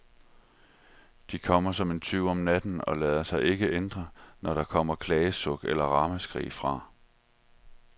De kommer som en tyv om natten og lader sig ikke ændre, når der kommer klagesuk eller ramaskrig, fra